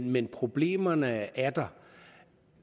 men problemerne er der